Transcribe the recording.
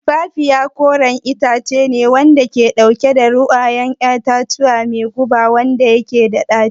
Tumfafiya koren itace ne wanda ke dauke da ruwan 'ya'yan itace mai guba wanda yake da daci